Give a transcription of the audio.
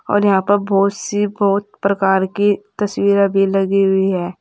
और यहां पर बहोत सी बहोत प्रकार की तस्वीरे भी लगी हुई है।